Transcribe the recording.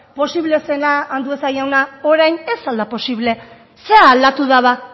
posible zena andueza jauna orain ez al da posible zer aldatu da ba